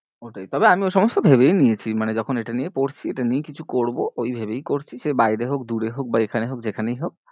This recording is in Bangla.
ওইটাই তবে আমি ওই সমস্ত ভেবেই নিয়েছি, মানে যখন এইটা নিয়ে পড়ছি এইটা নিয়েই কিছু করবো ওই ভেবেই করছি সে বাইরে হোক দূরে হোক বা এখানে হোক যেখানেই হোক